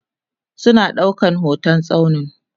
suna ɗaukan hotan tsaunin